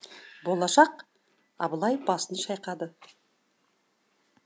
болашақ абылай басын шайқады